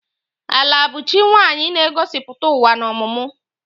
Ala bụ chi nwaanyị na-egosipụta ụwa na ọmụmụ.